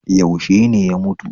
Yaushe ne ya mutu?